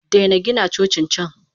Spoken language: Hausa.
Daina Gina Cocin can!